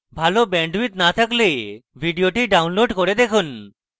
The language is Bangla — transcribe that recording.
ভাল bandwidth না থাকলে ভিডিওটি download করে দেখুন